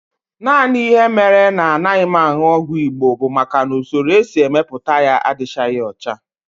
Naanị ihe mere na anaghị m aṅụ ọgwụ Igbo bụ maka na usoro e si mepụta ya adịchaghị ọcha